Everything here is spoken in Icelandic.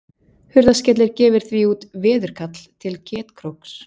Hurðaskellir gefur því út veðkall til Ketkróks.